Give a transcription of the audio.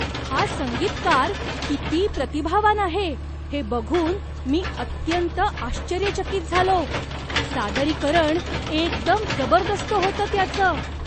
हा संगीतकार किती प्रतिभावान आहे हे बघून मी अत्यंत आश्चर्यचकित झालो. सादरीकरण एकदम जबरदस्त होतं त्याचं.